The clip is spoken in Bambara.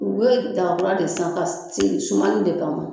U bɛ daga kura de san ka sigi sumani de kama